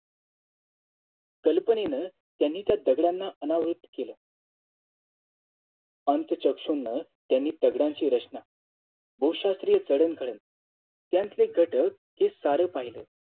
कल्पनेनं त्यांनी ता दगडांना अनावृत्त केलं अंत चक्षुंन त्यांनी दगडांची रचना बहुशात्रीय चढण घडण त्याचं घटक हे सार पाहिलं